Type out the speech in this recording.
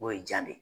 O ye ja de ye